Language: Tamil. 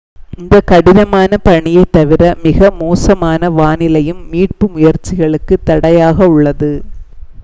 இந்த கடினமான பனியை தவிர மிக மோசமான வானிலையும் மீட்பு முயற்சிகளுக்கு தடையாக உள்ளது